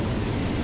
İndi yoxdur.